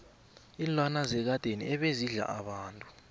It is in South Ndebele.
iinlwana zekadeni ebezidla abantu